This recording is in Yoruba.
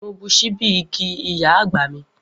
Mo bu ṣíbí igi iya agba mi.